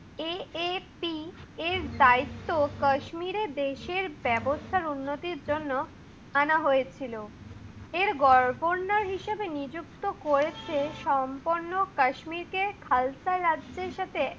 এ AFT এর দায়িত্ব কাশ্মীর দেশের ব্যবস্থার উন্নতির জন্য আনা হয়েছিল। এর ঘর কন্যা হিসাবে নিযুক্ত করেছে। সম্পূর্ণ কাশ্মীরকে খালতা রাজ্যের সাথে